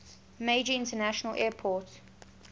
major international airport